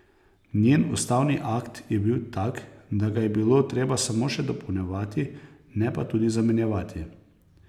Njen ustavni akt je bil tak, da ga je bilo treba samo še dopolnjevati, ne pa tudi zamenjevati.